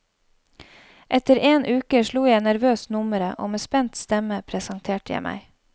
Etter en uke slo jeg nervøst nummeret, og med spent stemme presenterte jeg meg.